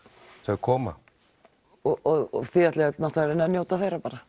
þau koma og þið ætlið náttúrulega að reyna að njóta þeirra bara